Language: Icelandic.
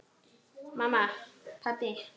Mamma. pabbi.